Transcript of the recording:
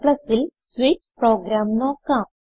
Cൽ switch program നോക്കാം